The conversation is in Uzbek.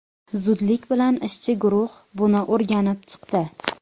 Zudlik bilan ishchi guruh buni o‘rganib chiqdi.